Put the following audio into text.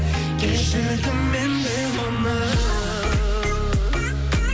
кешірдім мен де оны